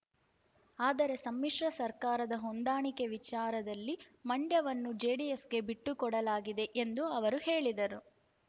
ಆದರೆ ಸಮ್ಮಿಶ್ರ ಸರ್ಕಾರದ ಹೊಂದಾಣಿಕೆ ವಿಚಾರದಲ್ಲಿ ಮಂಡ್ಯವನ್ನು ಜೆಡಿಎಸ್ ಗೆ ಬಿಟ್ಟು ಕೊಡಲಾಗಿದೆ ಎಂದು ಅವರು ಹೇಳಿದರು